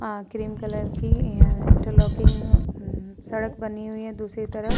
आ cream colour की interlocking एं अम् सड़क बनी हुई है दूसरी तरफ।